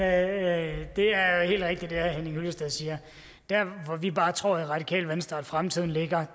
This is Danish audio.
er jo heller ikke det herre henning hyllested siger der hvor vi bare tror i radikale venstre at fremtiden ligger